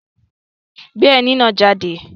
Gbé ẹní náà jáde!